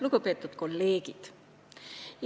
Lugupeetud kolleegid!